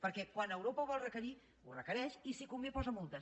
perquè quan europa ho vol requerir ho requereix i si convé posa multes